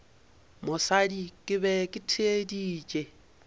mosadi ke be ke theeditše